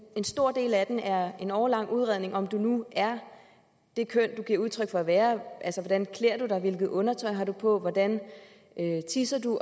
en stor del af den er en årelang udredning om om du nu er det køn du giver udtryk for at være hvordan klæder du dig hvilket undertøj har nu på hvordan tisser du